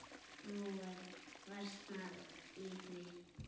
Nú versnar í því.